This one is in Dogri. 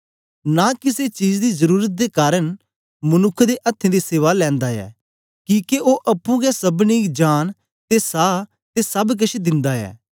नां किसे चीज दी जरुरत दे कारन मनुक्ख दे अथ्थें दी सेवा लैंदा ऐ किके ओ अप्पुं गै सबनीं गी जांन ते सहा ते सब केछ दिन्दा ऐ